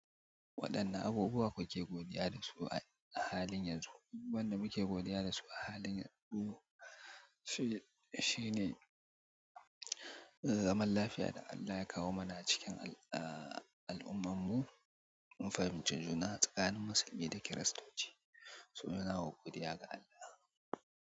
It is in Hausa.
Waɗanne abubuwa kuke godiya da su a halin yanzu? Wanda muke godiya da su a halin yanzu shine zaman lafiya da Allah ya kawo mana cikin al'ummar mu, mun fahimci juna tsakanin musulmi da kiristoci, su nuna wa godiya ga Allah.